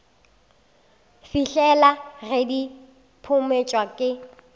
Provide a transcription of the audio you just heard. fihlela ge di phumotšwe ke